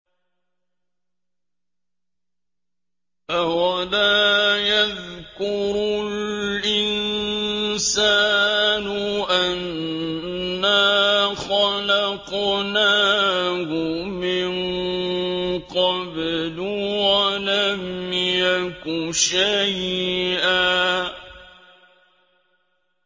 أَوَلَا يَذْكُرُ الْإِنسَانُ أَنَّا خَلَقْنَاهُ مِن قَبْلُ وَلَمْ يَكُ شَيْئًا